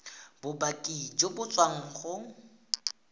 bopaki jo bo tswang go